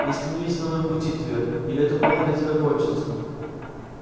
не становись на моём пути твер или это плохо для тебя кончится